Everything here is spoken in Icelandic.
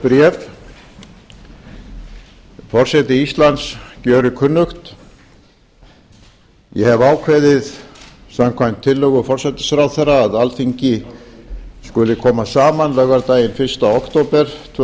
bréf forseti íslands gjörir kunnugt ég hefi ákveðið samkvæmt tillögu forsætisráðherra að alþingi skuli koma saman laugardaginn fyrsta október tvö